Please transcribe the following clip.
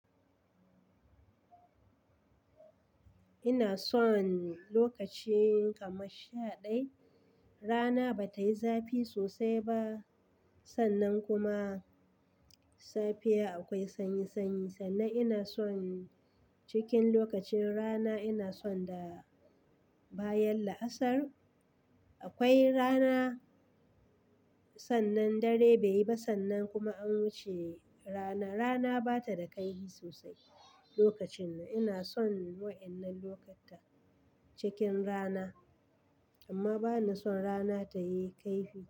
Ina son lokaci kamar sha ɗaya. Rana ba ta yi zafi sosai ba sannan kuma safiya akwai sanyi sanyi. Sannan ina son cikin lokacin rana ina son da bayan la'asar. Akwai rana sannan dare bai yi ba sannan kuma an wuce rana. Rana ba ta da karfi sosai lokacin ina son waɗannan lokuta cikin rana amma ba na son rana ta yi kaifi.